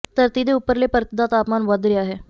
ਧਰਤੀ ਦੇ ਉਪਰਲੇ ਪਰਤ ਦਾ ਤਾਪਮਾਨ ਵਧ ਰਿਹਾ ਹੈ